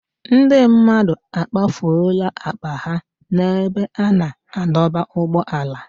Ndị mmadụ akpafuola akpa ha n'ebe a na-adọba ụgbọala.